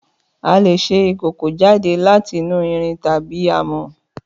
Àlé sẹ ìkòkó jade làtínù ìrín tàbí àmọ.